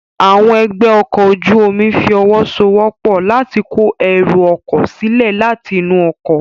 Àwọn ẹgbẹ́ ọkọ̀ ojú omi fi ọwọ́ so wọ́pọ̀ láti kó ẹrù ọkọ̀ sílẹ̀ láti inú ọkọ̀